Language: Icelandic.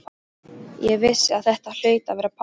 Ég vissi að þetta hlaut að vera pabbi.